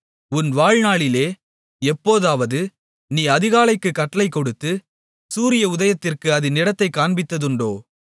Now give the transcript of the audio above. உன் வாழ்நாளிலே எப்போதாவது நீ அதிகாலைக்குக் கட்டளை கொடுத்து சூரிய உதயத்திற்கு அதின் இடத்தைக் காண்பித்ததுண்டோ